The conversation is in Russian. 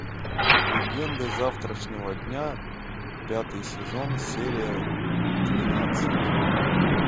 легенды завтрашнего дня пятый сезон серия двенадцать